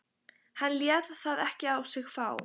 Hann lét það ekki á sig fá.